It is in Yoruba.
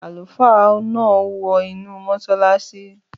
Àlùfáà náà wọ inú mọ́sálásí